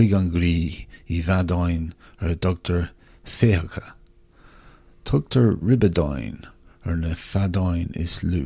chuig an gcroí i bhfeadáin ar a dtugtar féitheacha tugtar ribeadáin ar na feadáin is lú